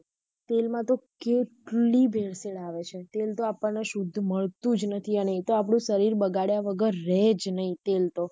તેલ માટે કેટલી ભેળ-સેળ આવે છે તેલ તો આપણને શુદ્ધ મળતુ જ નથી અને એ તો આપણું શરીર બગાડ્યા વગર રહે જ નહિ તેલ તો.